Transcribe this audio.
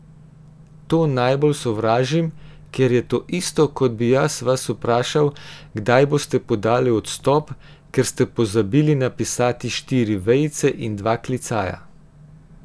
To najbolj sovražim, ker je to isto, kot bi jaz vas vprašal, kdaj boste podali odstop, ker ste pozabili napisati štiri vejice in dva klicaja.